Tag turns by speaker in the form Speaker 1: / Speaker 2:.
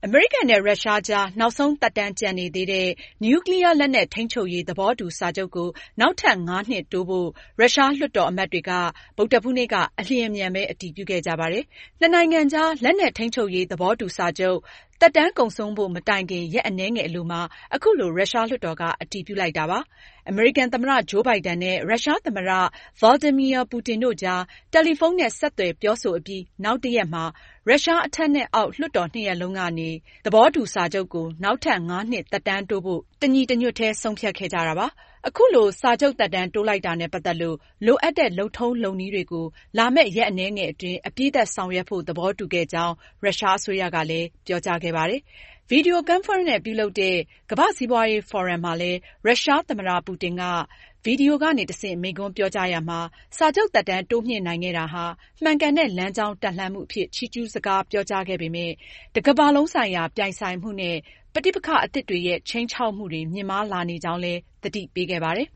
Speaker 1: အမေရိကန်နဲ့ ရုရှား အကြား နောက်ဆုံးသက်တမ်းကျန်နေသေးတဲ့ နျူးကလီးယား လက်နက် ထိန်းချုပ်ရေး သဘောတူစာချုပ်ကို နောက်ထပ် ငါးနှစ် တိုးဖို့ ရုရှားလွှတ်တော်အမတ်တွေဟာ ဗုဒ္ဓဟူးနေ့က အလျင်အမြန်ပဲ အတည်ပြုခဲ့ကြပါတယ်။ နှစ်နိုင်ငံကြား လက်နက်ထိန်းချုပ်ရေး သဘောတူ စာချုပ် သက်တမ်းကုန်ဆုံးဖို့ မတိုင်ခင် ရက်အနည်းငယ်အလိုမှာ အခုလို ရုရှားလွှတ်တော်က အတည်ပြုလိုက်တာဖြစ်ပါတယ်။ အမေရိကန်သမ္မတ ဂျိုးဘိုင်ဒန်နဲ့ ရုရှားသမ္မတ Vladimir Putin တို့အကြား တယ်လီဖုန်းနဲ့ ဆက်သွယ်ပြောဆိုအပြီး နောက်တရက်မှာ ရုရှား အထက်နဲ့ အောက် လွှတ်တော်နှစ်ရပ်လုံးကနေ START သဘောတူစာချုပ်ကို နောက်ထပ်ငါးနှစ် သက်တမ်းတိုးဖို့ တညီတညွတ်တည်း သဘောတူခဲ့ကြတာပါ။ အခုလို စာချုပ်သက်တမ်းတိုးလိုက်တာနဲ့ပတ်သက်လို့ လိုအပ်တဲ့ လုပ်ထုံးလုပ်နည်းတွေကို လာမယ့် ရက်အနည်းငယ်အတွင်း အပြီးသတ်ဆောင်ရွက်ဖို့ သဘောတူခဲ့ကြောင်း ရုရှားအစိုးရက ပြောကြားခဲ့ပါတယ်။ ဗွီဒီယိုကွန်ဖရင့်နဲ့ ပြုလုပ်တဲ့ ကမ္ဘာ့စီးပွားရေး ဖိုရမ်မှာလည်း ရုရှားသမ္မတ ပူတင်က ဗွီဒီယိုကနေတဆင့် မိန့်ခွန်ပြောကြားရာမှာ- စာချုပ်သက်တမ်း တိုးမြှင့်နိုင်ခဲ့တာဟာ မှန်ကန်တဲ့ လမ်းကြောင်းတက်လှမ်းမှု အဖြစ် ချီးကျူးစကားပြောကြားခဲ့ပေမယ့် ကမ္ဘာလုံးဆိုင်ရာ ပြိုင်ဆိုင်မှုနဲ့ ပဋိပက္ခအသစ်တွေရဲ့ ခြိမ်းခြောက်မှုတွေ မြင့်မားလာနေကြောင်း သတိပ
Speaker 2: ေးခဲ့ပါတယ်